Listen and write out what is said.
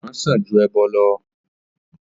Ìgbọ̀ràn sàn ju ẹbọ̀ lọ